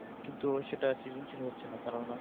কিন্তু সেটা সৃজনশীল হচ্ছে না কারন